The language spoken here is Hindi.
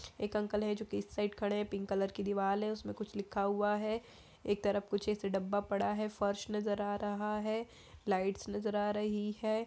एक अंकल है जो कि इस साइड खड़े हैं पिंक कलर की दीवाल है उसमें कुछ लिखा हुआ है एक तरफ कुछ ऐसे डब्बा पड़ा है फर्श नजर आ रहा है लाइट्स नज़र आ रही है।